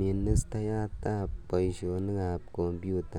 ministayat ap paisionik ap kompyuta.